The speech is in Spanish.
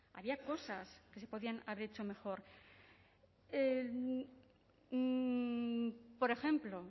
había cosas que se podían haber hecho mejor